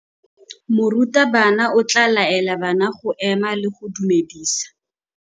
Morutabana o tla laela bana go ema le go go dumedisa.